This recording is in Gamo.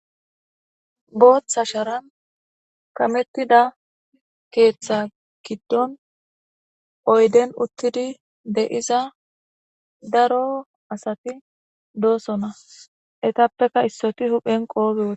booththa sharan kamettida keeththa kiddon oyden uttidi de iza daro asati doosona etappeka issoti huphen qoobiwe